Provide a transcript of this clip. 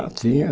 Ah, tinha.